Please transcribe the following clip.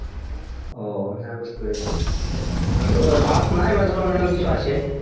ও হ্যাঁ বুঝতে পেরেছি হম হয়তো ও bus না এবার ধরো অন্য অন্য কিছু আছে